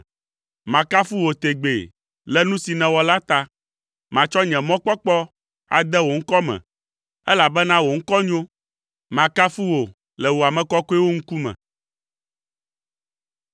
Makafu wò tegbee le nu si nèwɔ la ta; matsɔ nye mɔkpɔkpɔ ade wò ŋkɔ me, elabena wò ŋkɔ nyo. Makafu wò le wò ame kɔkɔewo ŋkume.